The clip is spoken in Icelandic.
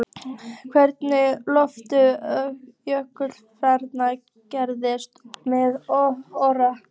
Hvernig horfði jöfnunarmark gestanna við Orra?